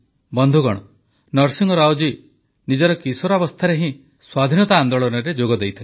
ବନ୍ଧୁଗଣ ନରସିଂହ ରାଓ ଜୀ ନିଜର କିଶୋରାବସ୍ଥାରେ ହିଁ ସ୍ୱାଧୀନତା ଆନେ୍ଦାଳନରେ ଯୋଗ ଦେଇଥିଲେ